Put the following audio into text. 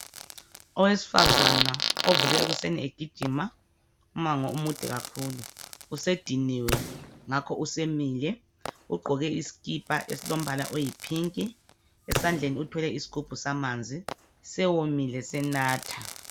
Owesifazana ovuke ekuseni egijima umango omude kakhulu usediniwe ngakho usemile ugqoke iskipa esilombala oyi pink esandleni uthwele isgubhu samanzi sewomile senatha.